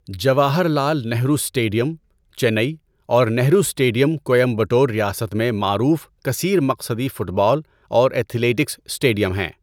Jawahar Lal Nehru stadium, Chennai اور Nehru stadium, Coimbatore ریاست میں معروف کثیر مقصدی فٹ بال اور ایتھلیٹکس اسٹیڈیم ہیں۔